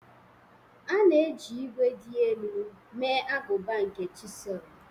A na-eji ígwè dị elu mee agụba nke chisel.